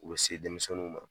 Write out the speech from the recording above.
Olu be denmisɛnninw ma